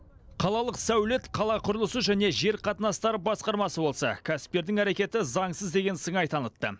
қалалық сәулет қала құрылысы және жер қатынастары басқармасы болса кәсіпкердің әрекеті заңсыз деген сыңай танытты